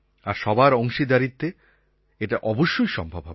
আর সবার অংশীদারীত্বে এটা অবশ্যই সম্ভব হবে